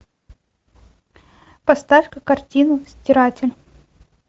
поставь ка картину стиратель